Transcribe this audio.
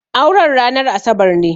Auren ranar Asabar ne.